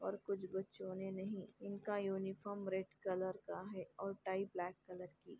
और कुछ बच्चों ने नहीं इनका यूनिफॉर्म रेड कलर है और टाई ब्लैक कलर की।